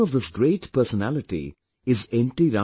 The name of this great personality is N